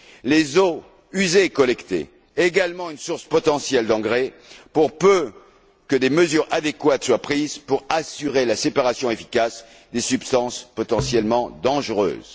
Les eaux usées et collectées représentent également une source potentielle d'engrais, pour peu que des mesures adéquates soient prises pour assurer la séparation efficace des substances potentiellement dangereuses.